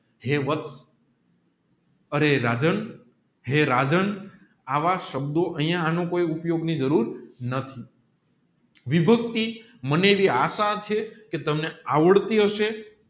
હે વસ્ત રે રાજન હે રાજન આવ શબ્દો હોય એનો કઈ ઉપયોગની જરૂર નથી વિભક્તિ મને એવી આશા છે કે તમે આવડતી હશે